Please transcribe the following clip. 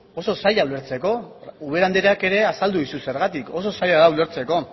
osa zaila ulertzeko ubera andreak ere azaldu dizu zergatik oso zaila da ulertzeko